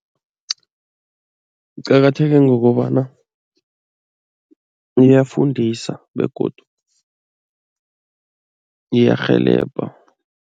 Kuqakatheke ngokobana iyafundisa begodu iyarhelebha.